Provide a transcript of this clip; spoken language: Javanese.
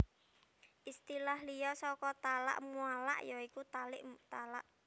Istilah liya saka talak muallaq ya iku talik talak